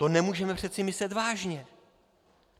To nemůžeme přece myslet vážně.